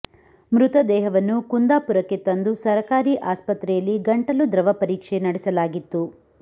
ಮೃತದೇಹವನ್ನು ಕುಂದಾಪುರಕ್ಕೆ ತಂದು ಸರಕಾರಿ ಆಸ್ಪತ್ರೆಯಲ್ಲಿ ಗಂಟಲು ದ್ರವ ಪರೀಕ್ಷೆ ನಡೆಸಲಾಗಿತ್ತು